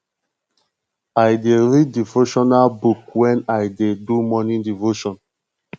i dey read devotional book wen i dey do morning devotion